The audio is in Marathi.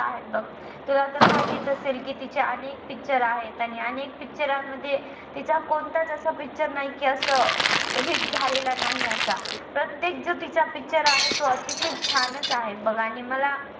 तुला तर माहीतच असेल कि तिच्ये अनेक picture आहेत आणि अनेक picture यांमध्ये तिचा कोणताच असा picture नाही कि अस अं hit झालेला नाही असा प्रत्येक जो तिचा picture आहे तो अतिशय छानच आहे बघ आणि मला